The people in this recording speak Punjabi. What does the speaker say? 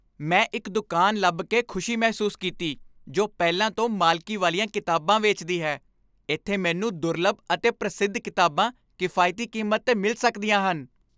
ਮੈਂ ਇੱਕ ਦੁਕਾਨ ਲੱਭ ਕੇ ਖੁਸ਼ੀ ਮਹਿਸੂਸ ਕੀਤੀ ਜੋ ਪਹਿਲਾਂ ਤੋਂ ਮਾਲਕੀ ਵਾਲੀਆਂ ਕਿਤਾਬਾਂ ਵੇਚਦੀ ਹੈ। ਇੱਥੇ ਮੈਨੂੰ ਦੁਰਲੱਭ ਅਤੇ ਪ੍ਰਸਿੱਧ ਕਿਤਾਬਾਂ ਕਿਫਾਇਤੀ ਕੀਮਤ 'ਤੇ ਮਿਲ ਸਕਦੀਆਂ ਹਨ।